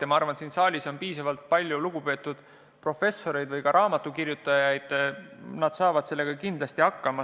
Ja ma arvan, et siin saalis on piisavalt palju lugupeetud professoreid või ka raamatukirjutajaid, nad saavad sellega kindlasti hakkama.